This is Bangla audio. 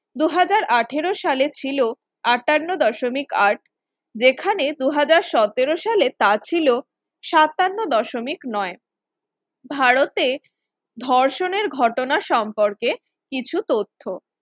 আটারো সালে ছিল আটান্ন দশমিক আট যেখানে দু হাজার সতের সালে তা ছিল সাতান্ন দশমিক নয়। ভারতে ধর্ষণের ঘটনা সম্পর্কে কিছু তথ্য